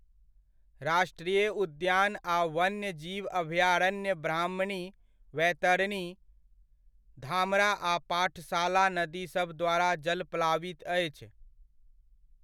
राष्ट्रीय उद्यान आ वन्य जीवन अभयारण्य ब्राह्मणी, बैतरणी, धामरा आ पाठशाला नदीसभ द्वारा जलप्लावित अछि।